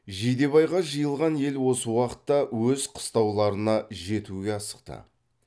жидебайға жиылған ел осы уақытта өз қыстауларына жетуге асықты